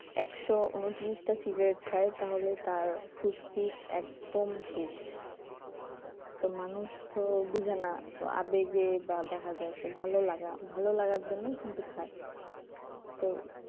একশ ঊনত্রিশ টা সিগারেট খাই তাহলে তার ফুসফুস একদম শেষ তো মানুষ তো বুঝে না আবেগে বা দেখা যাচ্ছে ভালোলাগা ভালো লাগার জন্য কিন্তু খায় তো